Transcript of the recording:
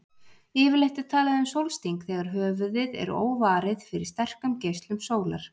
Yfirleitt er talað um sólsting þegar höfuðið er óvarið fyrir sterkum geislum sólar.